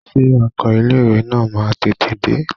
Ṣé ọkọ ilé ìwé náà máa tètè dé?